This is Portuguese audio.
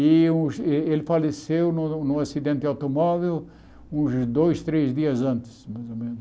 E o ele faleceu num num acidente de automóvel uns dois, três dias antes, mais ou menos.